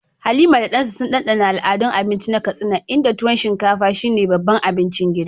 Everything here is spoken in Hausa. Halima da Dan sun dandana al'adun abinci na Katsina, inda tuwo shinkafa, shine babban abincin gidan